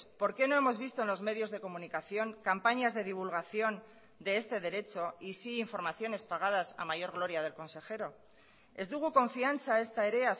por qué no hemos visto en los medios de comunicación campañas de divulgación de este derecho y sí informaciones pagadas a mayor gloria del consejero ez dugu konfiantza ezta ere